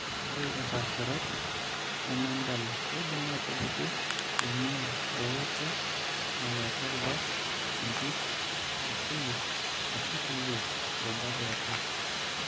Ore impaasharot nemendala keidim aatupuku eing'uaa eooto nalo atua irubat, impit, akili, ashu kulie rubat eatua.